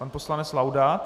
Pan poslanec Laudát.